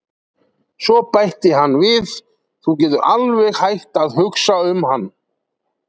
Svo bætti hann við: Þú getur alveg hætt að hugsa um hann